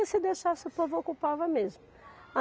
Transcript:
E se deixasse, o povo ocupava mesmo.